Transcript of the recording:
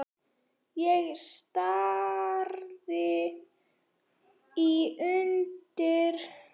Ég stari í undrun.